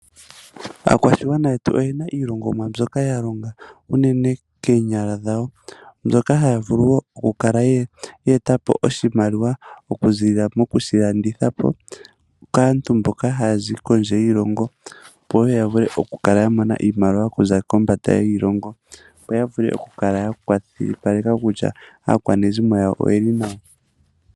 Aakwashigwana yetu oyena iilongomwa mbyoka ya longa unene koonyala dhawo mbyoka haya vulu woo okukala ye etapo oshimaliwa okuziilila moku shi landithapo kaantu mboka hayazi kondje yiilongo opo woo yavule okukala ya mona iimaliwa okuza kombanda yiilongo, opo yavule okukala ya kwashilipaleka kutya aakwanezimo yawo oyeli nawa.